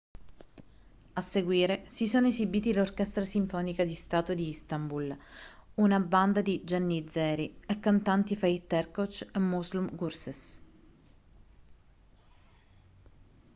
a seguire si sono esibiti l'orchestra sinfonica di stato di istanbul una banda di giannizzeri e i cantanti fatih erkoç e müslüm gürses